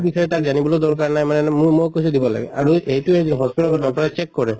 বিষয়ে তাক জানিবলৈো দৰ্কাৰ নাই মানে মোৰ মোক কৈছে দিব লাগে আৰু এইটোয়ে যে hospital ৰ doctor ৰে check কৰে